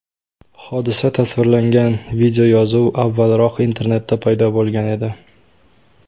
Hodisa tasvirlangan videoyozuv avvalroq internetda paydo bo‘lgan edi.